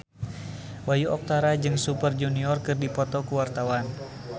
Bayu Octara jeung Super Junior keur dipoto ku wartawan